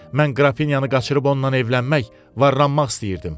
Mən qrafiniyanı qaçırıb ondan evlənmək, varlanmaq istəyirdim.